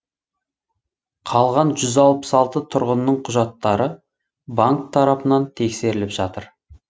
қалған жүз алпыс алты тұрғынның құжаттары банк тарапынан тексеріліп жатыр